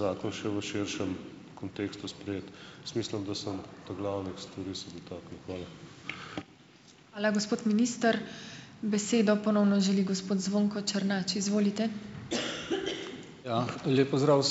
zakon še v širšem kontekstu sprejet. Jaz mislim, da sem ta glavnih stvari se dotaknil. Hvala.